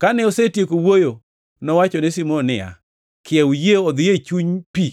Kane osetieko wuoyo, nowachone Simon niya, “Kiew yie odhi e chuny pi